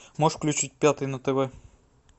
можешь включить пятый на тв